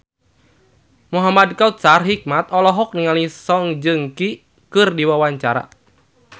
Muhamad Kautsar Hikmat olohok ningali Song Joong Ki keur diwawancara